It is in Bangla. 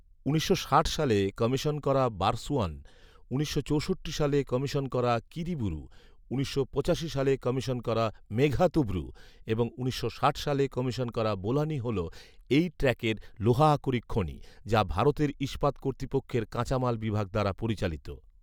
উনিশশো ষাট সালে কমিশন করা বারসুয়ান, উনিশশো চৌষট্টি সালে কমিশন করা কিরিবুরু, উনিশশো পঁচাশি সালে কমিশন করা মেঘহাতুবুরু এবং উনিশশো ষাট সালে কমিশন করা বোলানি হল এই ট্র্যাকের লোহা আকরিক খনি যা ভারতের ইস্পাত কর্তৃপক্ষের কাঁচামাল বিভাগ দ্বারা পরিচালিত